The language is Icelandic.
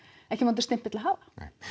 ekki vondur stimpill að hafa